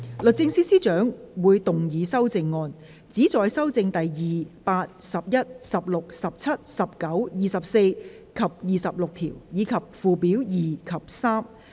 律政司司長會動議修正案，旨在修正第2、8、11、16、17、19、24及26條，以及附表2及3。